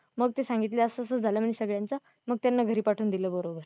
मग ते सांगितले असं असं झालं म्हणे सगळ्यांचं मग त्यांना घरी पाठवून दिल बरोबर.